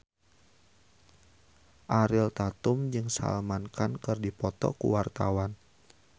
Ariel Tatum jeung Salman Khan keur dipoto ku wartawan